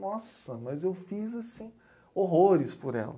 Nossa, mas eu fiz, assim, horrores por ela.